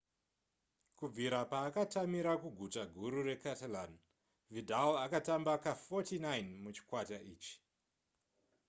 kubvira paakatamira kuguta guru recatalan vidal atamba ka49 muchikwata ichi